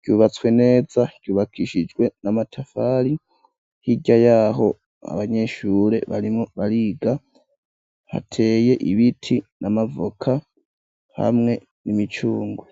ryubatswe neza ryubakishijwe n'amatafari, hirya yaho abanyeshure barimwo bariga hateye ibiti n'amavoka hamwe n'imicungwe.